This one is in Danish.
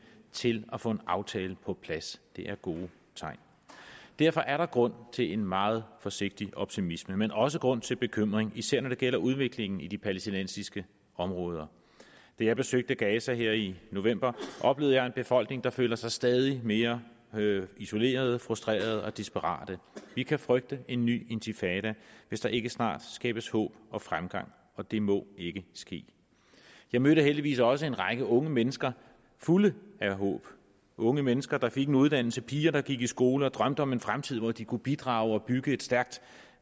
til at få en aftale på plads det er gode tegn derfor er der grund til en meget forsigtig optimisme men også grund til bekymring især når det gælder udviklingen i de palæstinensiske områder da jeg besøgte gaza her i november oplevede jeg en befolkning der føler sig stadig mere isoleret frustreret og desperat vi kan frygte en ny intifada hvis der ikke snart skabes håb og fremgang og det må ikke ske jeg mødte heldigvis også en række unge mennesker fulde af håb unge mennesker der fik en uddannelse piger der gik i skole og drømte om en fremtid hvor de kunne bidrage og bygge et stærkt